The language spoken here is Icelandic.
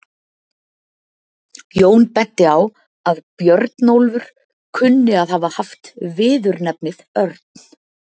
Jón benti á að Björnólfur kunni að hafa haft viðurnefnið örn.